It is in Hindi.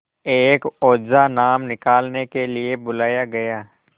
एक ओझा नाम निकालने के लिए बुलाया गया